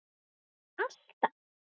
Treysti Viðar honum alltaf?